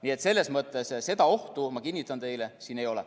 Nii et selles mõttes seda ohtu, ma kinnitan teile, siin ei ole.